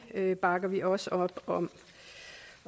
det bakker vi også op om